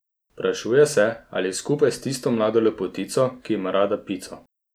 Vprašuje se, ali je skupaj s tisto mlado lepotico, ki ima rada pico.